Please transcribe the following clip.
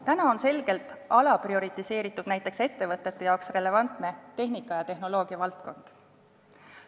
Täna on selgelt alaprioriseeritud näiteks ettevõtete jaoks relevantne tehnika- ja tehnoloogiavaldkond.